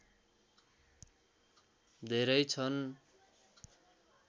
धेरै छन्